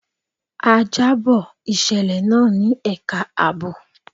A jábọ̀ ìṣẹ̀lẹ̀ náà ní ẹka àbò.